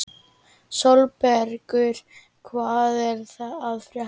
Sólbergur, hvað er að frétta?